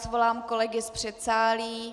Svolám kolegy z předsálí.